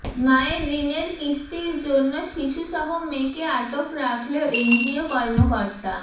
মায়ের ঋণের কিস্তির জন্য শিশুসহ মেয়েকে আটক রাখল এনজিও কর্মকর্তা